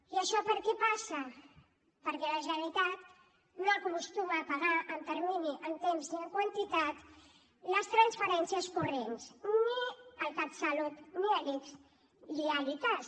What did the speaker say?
i això per què passa perquè la generalitat no acostuma a pagar en termini en temps ni en quantitat les transferències corrents ni al catsalut ni a l’ics ni a l’icass